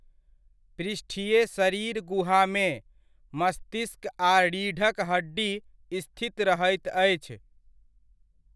पृष्ठीय शरीर गुहामे, मस्तिष्क आ रीढ़क हड्डी स्थित रहैत अछि।